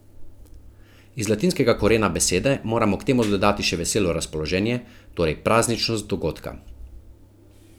Iz latinskega korena besede moramo k temu dodati še veselo razpoloženje, torej prazničnost dogodka.